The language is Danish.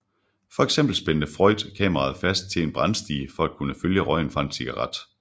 For eksempel spændte Freund kameraet fast til en brandstige for at kunne følge røgen fra en cigaret